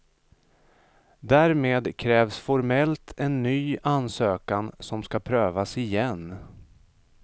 Därmed krävs formellt en ny ansökan, som ska prövas igen.